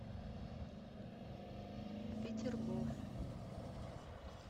петергоф